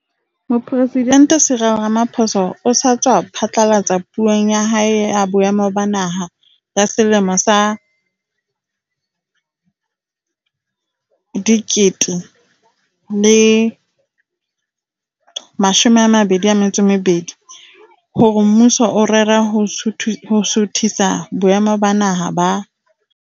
Mopresidente Cyril Ramaphosa o sa tswa phatlalatsa Puong ya hae ya Boemo ba Naha ya selemo sa 2022, SoNA, hore mmuso o rera ho suthisa boemo ba Naha ba